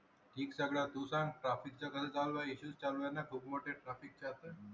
ठीक सगळ, तू सांग traffic कस चालू आहे? एस चालू आहे खूप मोठ traffic असण